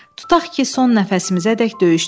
Tutaq ki, son nəfəsimizədək döyüşdük.